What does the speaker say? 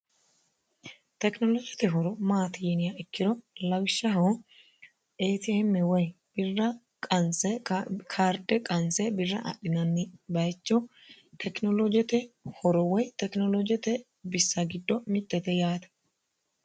tekinoloojete horo maati yiniya ikkiro lawishshaho eetiemme woy birra qanse kaarde qanse birra adhinanni bayicho tekinoloojote horo woy tekinoloojete bissa giddo mittete yaate